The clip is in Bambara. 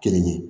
Kelen ye